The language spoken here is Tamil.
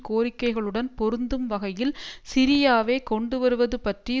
கோரிக்கைகளுடன் பொருந்தும் வகையில் சிரியாவைக் கொண்டுவருவதுபற்றி